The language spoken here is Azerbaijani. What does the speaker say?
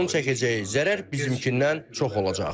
Onun çəkəcəyi zərər bizimkindən çox olacaq.